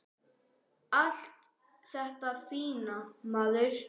Allt þetta fína, maður.